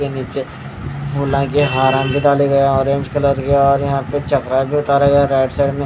के नीचे orange colour के यहां पे चप्पल उतारा गया राइट साइड में--